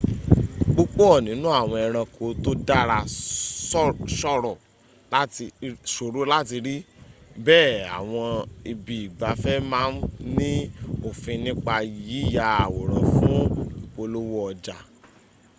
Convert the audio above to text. púpọ̀ nínu àwọn ẹranko tó dàra ṣòro láti rí bẹ́ẹ̀ àwọn ibi ìgbafẹ́ ma ń ní òfin nípa yíya àwòrán fún ìpolówó ọjà